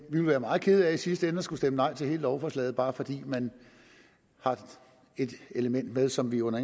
vil være meget kede af i sidste ende at skulle stemme nej til hele lovforslaget bare fordi man har et element med som vi under